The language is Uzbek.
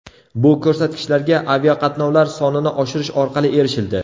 Bu ko‘rsatkichlarga aviaqatnovlar sonini oshirish orqali erishildi.